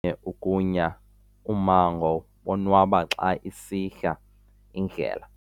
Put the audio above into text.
ukunya ummango bonwaba xa isihla indlela.